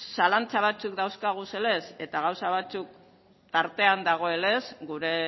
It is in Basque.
zalantza batzuk dauzkaguzenez eta gauza batzuk tartean dagoenez gure